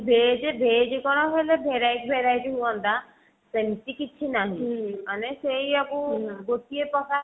veg veg କଣ ହେଲେ verity verity ହୁଅନ୍ତା ସେମିତି କିଛି ନାହିଁ ମାନେ ସେୟା କୁ ଗୋଟିଏ ପ୍ରକାର